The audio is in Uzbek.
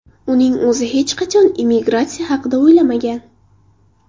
Uning o‘zi hech qachon emigratsiya haqida o‘ylamagan.